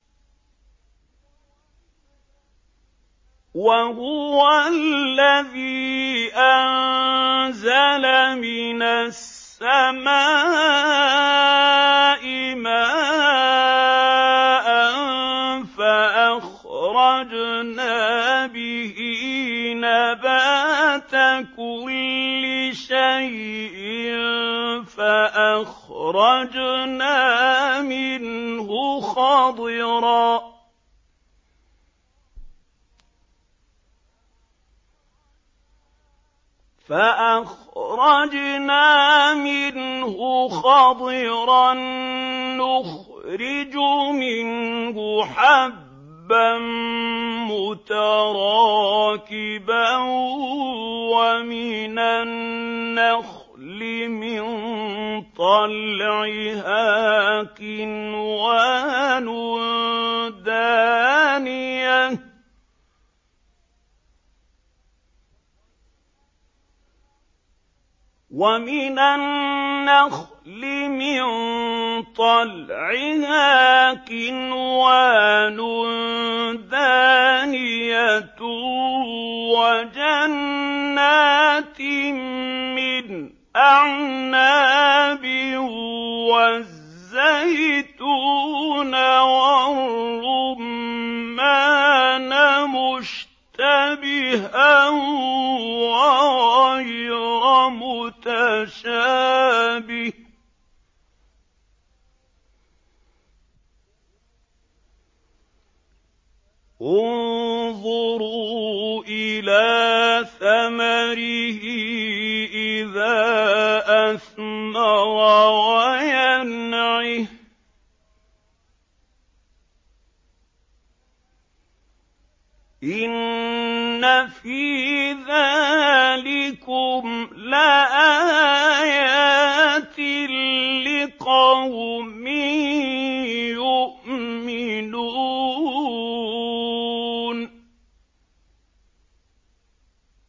وَهُوَ الَّذِي أَنزَلَ مِنَ السَّمَاءِ مَاءً فَأَخْرَجْنَا بِهِ نَبَاتَ كُلِّ شَيْءٍ فَأَخْرَجْنَا مِنْهُ خَضِرًا نُّخْرِجُ مِنْهُ حَبًّا مُّتَرَاكِبًا وَمِنَ النَّخْلِ مِن طَلْعِهَا قِنْوَانٌ دَانِيَةٌ وَجَنَّاتٍ مِّنْ أَعْنَابٍ وَالزَّيْتُونَ وَالرُّمَّانَ مُشْتَبِهًا وَغَيْرَ مُتَشَابِهٍ ۗ انظُرُوا إِلَىٰ ثَمَرِهِ إِذَا أَثْمَرَ وَيَنْعِهِ ۚ إِنَّ فِي ذَٰلِكُمْ لَآيَاتٍ لِّقَوْمٍ يُؤْمِنُونَ